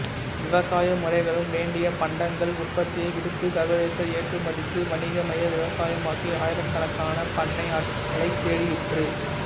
விவசாய முறைகளும் வேண்டிய பண்டங்கள் உற்பத்தியை விடுத்து சர்வதேச ஏற்றுமதிக்கு வணிகமய விவசாயமாகி ஆயிரக்கணக்கான பண்ணையாட்களை தேடிற்று